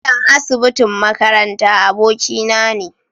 Likitan asibitin makaranta abokina ne.